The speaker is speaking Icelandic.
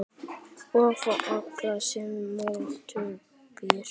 Og fá allan sinn mótbyr.